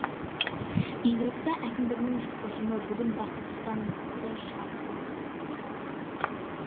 елорда әкімдігінің ұжымы бүгін бақыт сұлтановты шығарып салды